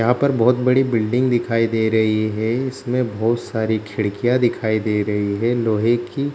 यहाँ पर बहुत बड़ी बिल्डिंग दिखाई दे रही है इसमे बहुत सारी खिड़कियां दिखाई दे रही है लोहे की --